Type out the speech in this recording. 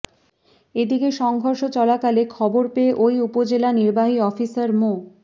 এদিকে সংঘর্ষ চলাকালে খবর পেয়ে ওই উপজেলা নির্বাহী অফিসার মো